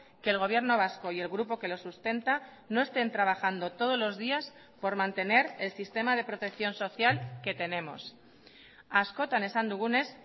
que el gobierno vasco y el grupo que lo sustenta no estén trabajando todos los días por mantener el sistema de protección social que tenemos askotan esan dugunez